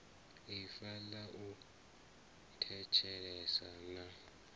ifa ḽa u thetshelesa na